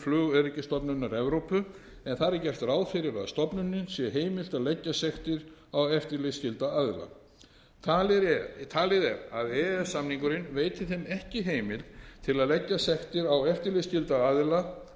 flugöryggisstofnunar evrópu en þar er gert ráð fyrir að stofnununum sé heimilt að leggja sektir á eftirlitsskylda aðila talið er að e e s samningurinn veiti þeim ekki heimild til að leggja sektir á eftirlitsskylda aðila